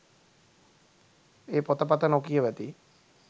ඒ පොතපත නොකියවති